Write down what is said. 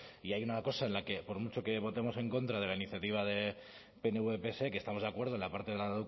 y hay una cosa en la que por mucho que votemos en contra de la iniciativa de pnv pse que estamos de acuerdo en la parte de la